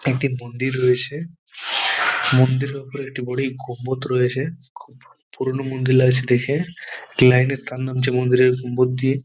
একটি মন্দির রয়েছে মন্দিরের ওপরে একটি বড়ই গম্বুদ রয়েছে পুরোনো মন্দির লাগছে দেখে লাইন -এর তার নামছে মন্দিরের গম্বুদ দিয়ে।